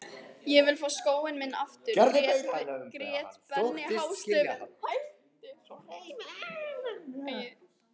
Ég vil fá skóinn minn aftur grét Benni hástöfum.